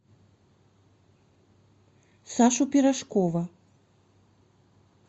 сашу пирожкова